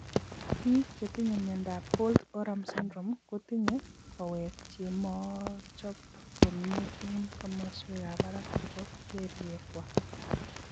Biik chetinye miondop holt oram syndrome kotinye kawek chemochopok komie eng' komaswekab barak chebo kelyekwak